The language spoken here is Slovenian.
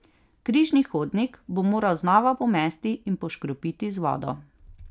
Križni hodnik bo moral znova pomesti in poškropiti z vodo.